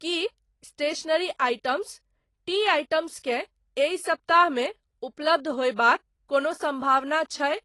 की stationery items, tea items के एहि सप्ताह मे उपलब्ध होयबाक कोनो सम्भावना छै ?